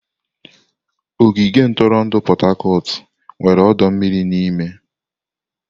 Ogige ntụrụndụ Pot-Tarcort nwere ọdọ mmiri n'ime.